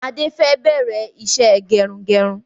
Adé fẹ bẹ̀rẹ̀ ìṣe gẹrun-gẹrun